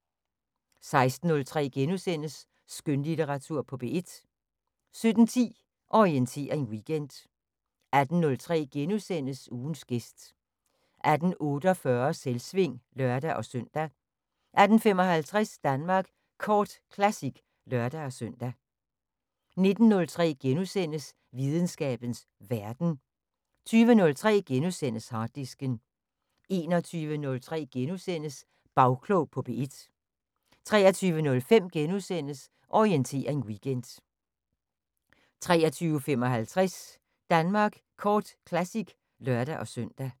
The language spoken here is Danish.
16:03: Skønlitteratur på P1 * 17:10: Orientering Weekend 18:03: Ugens gæst * 18:48: Selvsving (lør-søn) 18:55: Danmark Kort Classic (lør-søn) 19:03: Videnskabens Verden * 20:03: Harddisken * 21:03: Bagklog på P1 * 23:05: Orientering Weekend * 23:55: Danmark Kort Classic (lør-søn)